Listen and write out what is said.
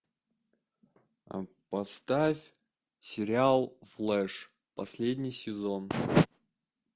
поставь сериал флэш последний сезон